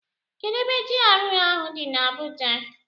Kedụ ebe GRA ahụ dị na Abuja?